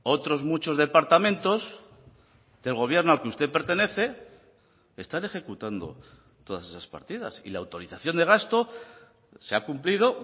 otros muchos departamentos del gobierno al que usted pertenece están ejecutando todas esas partidas y la autorización de gasto se ha cumplido